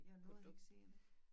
Jeg nåede ikke se det